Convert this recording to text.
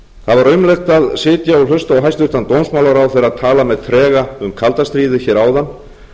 það var aumlegt að sitja og hlusta á hæstvirtan dómsmálaráðherra tala með trega um kalda stríðið hér áðan og